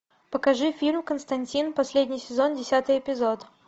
покажи фильм константин последний сезон десятый эпизод